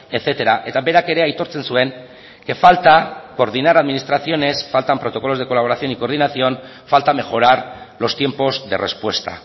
etcétera eta berak ere aitortzen zuen que falta coordinar administraciones faltan protocolos de colaboración y coordinación falta mejorar los tiempos de respuesta